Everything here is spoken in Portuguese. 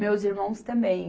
Meus irmãos também.